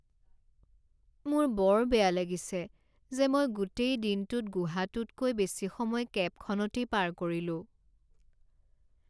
মোৰ বৰ বেয়া লাগিছে যে মই গোটেই দিনটোত গুহাটোতকৈ বেছি সময় কেবখনতেই পাৰ কৰিলোঁ।